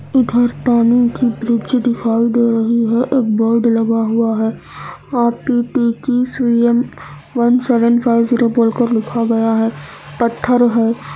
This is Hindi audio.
इधर पानी की ब्रिज दिखाई दे रहा है एक बोर्ड लगा हुआ है लिखा गया है पत्थर है।